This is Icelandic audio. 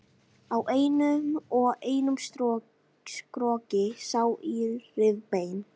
Á einum og einum skrokki sá í rifbein.